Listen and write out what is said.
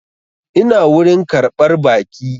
Ina wurin ƙarɓar baƙi